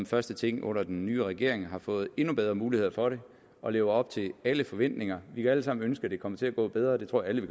første ting under den nye regering har fået endnu bedre muligheder for det og lever op til alle forventninger vi kan alle sammen ønske at det kommer til at gå bedre det tror jeg